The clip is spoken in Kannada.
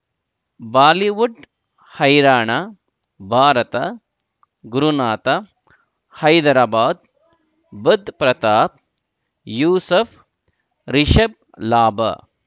ಬಾಲಿವುಡ್ ಹೈರಾಣ ಭಾರತ ಗುರುನಾಥ ಹೈದರಾಬಾದ್ ಬುಧ್ ಪ್ರತಾಪ್ ಯೂಸುಫ್ ರಿಷಬ್ ಲಾಭ